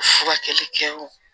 Furakɛli kɛ o